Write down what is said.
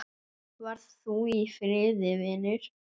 Far þú í friði, vinur.